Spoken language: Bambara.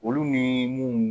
Olu nii mun